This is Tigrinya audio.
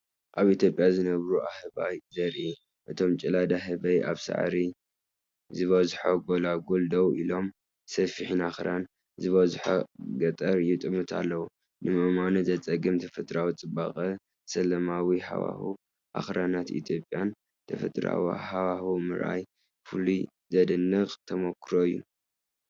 ኣብ ኢትዮጵያ ዝነብሩ ኣህባያት ዘርኢ፣ እቶም ጭላዳ ህበይ ኣብ ሳዕሪ ዝበዝሖ ጐልጐል ደው ኢሎም ፣ሰፊሕን ኣኽራን ዝበዝሖን ገጠር ይጥምቱ ኣለዉ። ንምእማኑ ዘጸግም ተፈጥሮኣዊ ጽባቐን ሰላማዊ ሃዋህው ኣኽራናት ኢትዮጵያን ፣ ተፈጥሮኣዊ ሃዋህው ምርኣይ ፍሉይን ዘደንቕን ተመክሮ እዩ።